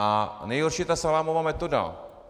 A nejhorší je ta salámová metoda.